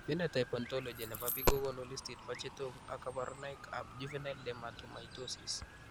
Phenotype ontology nebo biik kokonu listini bo chetogu ak kaborunoik ab juvenile dermatomytosis